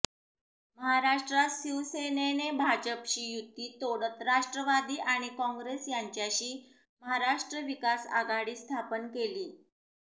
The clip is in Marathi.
महाराष्ट्रात शिवसेनेने भाजपशी युती तोडत राष्ट्रवादी आणि काँग्रेस यांच्याशी महाराष्ट्र विकासआघाडी स्थापन केली